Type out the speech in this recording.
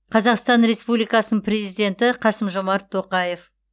қазақстан республикасының президенті қасым жомарт тоқаев